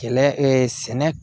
Kɛlɛ sɛnɛ